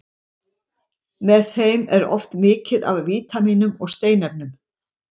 Með þeim er oft mikið af vítamínum og steinefnum.